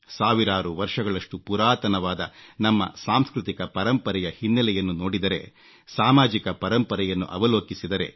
ಸಾವಿರಾರು ವರ್ಷಗಳಷ್ಟು ಪುರಾತನವಾದ ನಮ್ಮ ಸಾಂಸ್ಕೃತಿಕ ಪರಂಪರೆಯ ಹಿನ್ನೆಲೆಯನ್ನು ನೋಡಿದರೆ ಸಾಮಾಜಿಕ ಪರಂಪರೆಯನ್ನು ಅವಲೋಕಿಸಿದರೆ